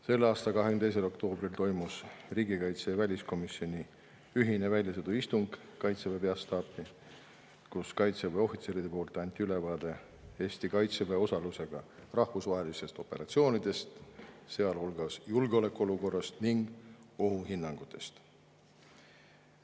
Selle aasta 22. oktoobril toimus riigikaitsekomisjoni ja väliskomisjoni ühine väljasõiduistung Kaitseväe peastaapi, kus kaitseväe ohvitserid andsid ülevaate Eesti kaitseväe osalusega rahvusvahelistest operatsioonidest, sealhulgas julgeolekuolukorrast ning ohuhinnangutest.